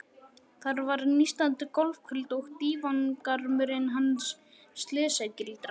Þar var nístandi gólfkuldi og dívangarmurinn hans slysagildra.